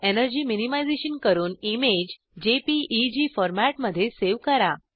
energy minimisation करून image JPEG फॉर्मेटमध्ये save करा